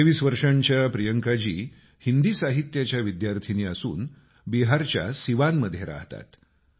23 वर्षाच्या प्रियकांजी हिंदी साहित्याच्या विद्यार्थिनी असून बिहारच्या सिवानमध्ये रहातात